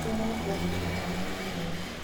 nĩkurĩ arĩa makoragwo na mathaa ma kũhoya